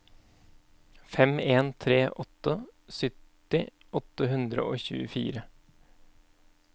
fem en tre åtte sytti åtte hundre og tjuefire